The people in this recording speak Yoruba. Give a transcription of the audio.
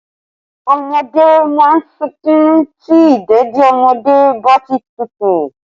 Ọmọdé má ń sunkún tí ìdèdí ọmọdé bá ti tútù